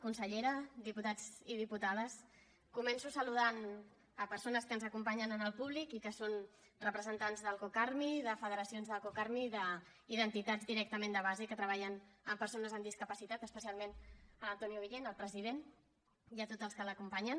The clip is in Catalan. consellera diputats i diputades començo saludant persones que ens acompanyen en el públic i que són representants del cocarmi de federacions del cocarmi i d’entitats directament de base que treballen amb persones amb discapacitat especialment l’antonio guillén el president i a tots els que l’acompanyen